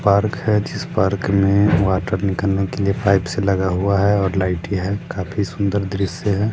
Park है जिस park में वाटर निकलने के लिए पाइप्स लगा हुआ है और लाइटे है। काफी सुंदर दृश्य है।